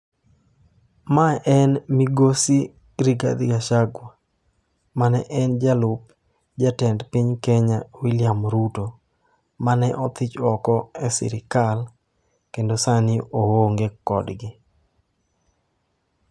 Ma en Migosi Rigadhi Gachagua mane en jalup Jatend piny Kenya William Ruto, mane othich oko e sirkal kendo sani oonge kodgi.